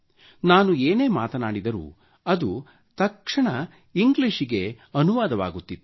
ನಾನು ಏನೇ ಮಾತನಾಡಿದರೂ ಅದು ತಕ್ಷಣ ಇಂಗ್ಲೀಷಿನಲ್ಲಿ ಅನುವಾದವಾಗುತ್ತಿತ್ತು